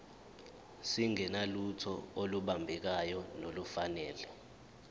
singenalutho olubambekayo nolufanele